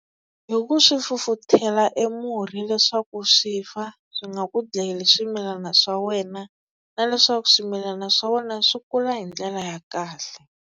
Hi ku swi fufuthela e murhi leswaku swi fa swi nga ku dlayeli swimilana swa wena na leswaku swimilana swa wena swi kula hi ndlela ya kahle.